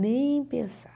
Nem pensar.